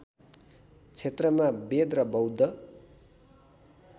क्षेत्रमा वेद र बौद्ध